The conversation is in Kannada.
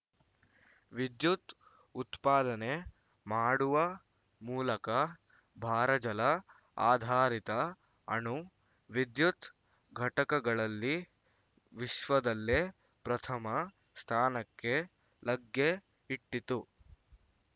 ವಿದ್ಯುತ್‌ ಉತ್ಪಾದನೆ ಮಾಡುವ ಮೂಲಕ ಭಾರಜಲ ಆಧಾರಿತ ಅಣು ವಿದ್ಯುತ್‌ ಘಟಕಗಳಲ್ಲಿ ವಿಶ್ವದಲ್ಲೆ ಪ್ರಥಮ ಸ್ಥಾನಕ್ಕೆ ಲಗ್ಗೆ ಇಟ್ಟಿತ್ತು